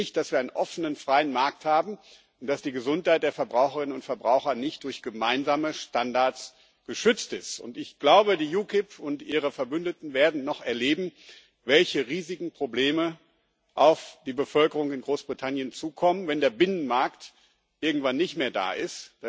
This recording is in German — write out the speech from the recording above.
Es geht nicht, dass wir einen offenen freien Markt haben und dass die Gesundheit der Verbraucherinnen und Verbraucher nicht durch gemeinsame Standards geschützt ist, und ich glaube, die UKIP und ihre Verbündeten werden noch erleben, welche riesigen Probleme auf die Bevölkerung in Großbritannien zukommen, wenn der Binnenmarkt irgendwann nicht mehr da ist.